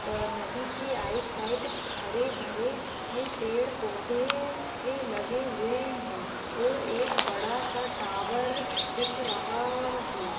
व नदी के आइड साइड हरे-भरे पेड़-पौधे लगे हुए है और एक बड़ा सा टॉवर दिख रहा है।